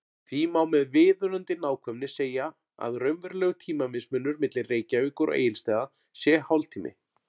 Því má með viðunandi nákvæmni segja að raunverulegur tímamismunur milli Reykjavíkur og Egilsstaða sé hálftími.